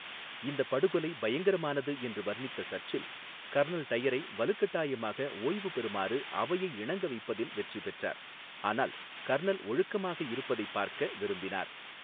இந்த படுகொலை 'பயங்கரமானது' என்று வர்ணித்த சர்ச்சில், கர்னல் டயரை வலுக்கட்டாயமாக ஓய்வு பெறுமாறு அவையை இணங்க வைப்பதில் வெற்றி பெற்றார், ஆனால் கர்னல் ஒழுக்கமாக இருப்பதை பார்க்க விரும்பினார்.